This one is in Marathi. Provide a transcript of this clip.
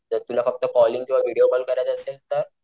जस तुला फक्त कॉलिंग किंवा व्हिडीओ कॉल करायचा असेल तर,